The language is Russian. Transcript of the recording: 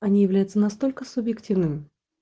они являются настолько субъективным